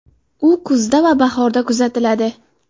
U kuzda va bahorda kuzatiladi.